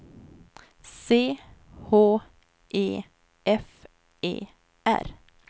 C H E F E R